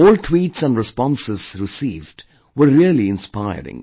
All tweets and responses received were really inspiring